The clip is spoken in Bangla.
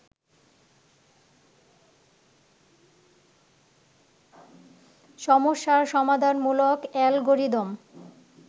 সমস্যার সমাধানমূলক অ্যালগোরিদম